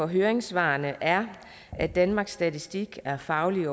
høringssvarene er at danmarks statistik er fagligt